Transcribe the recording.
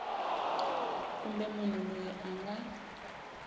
kumbe munhu loyi a nga